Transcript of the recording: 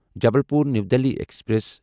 Jabalpur new Delhi express